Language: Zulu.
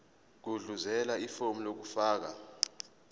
gudluzela ifomu lokufaka